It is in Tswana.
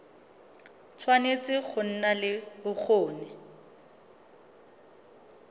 tshwanetse go nna le bokgoni